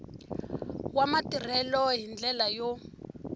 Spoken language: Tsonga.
wa matirhelo hi ndlela yo